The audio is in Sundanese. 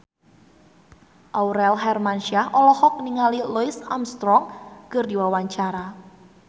Aurel Hermansyah olohok ningali Louis Armstrong keur diwawancara